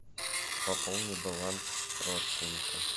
пополни баланс родственника